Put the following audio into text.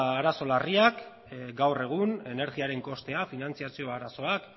arazo larriak gaur egun energiaren kostea finantziazio arazoak